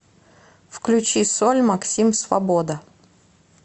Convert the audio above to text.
включи соль максим свобода